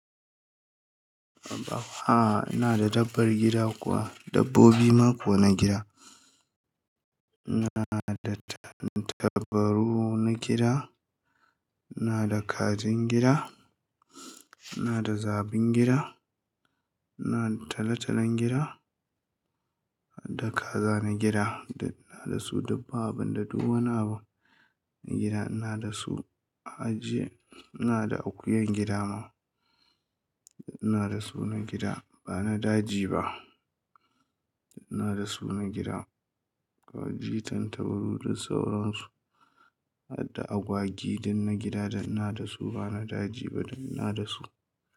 A'a, ina da dabbar gida kuwa, dabbobi ma kuwa na gida. Ina da tantabaru na gida, ina da kajin gida, ina da zabin gida, ina da talatalon gida da kaza na gida. Ina da su dub ba abinda du wani abu na gida ina da su. Ajiye, ina da akuyan gida ma ina da su na gida. Ba na daji ba, ina da su na gida. Kaji tantabaru dhk sauran su, hadda agwagi din na gida ina da su ba na daji ba ina da su.